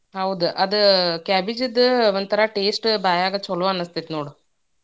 ಹೌದ್ ಅದ cabbage ದ್ ಒಂದ್ತರಾ taste ಬಾಯಾಗ ಚಲೋ ಅನಸ್ತೇತೀ ನೋಡ್.